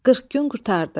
Qırx gün qurtardı.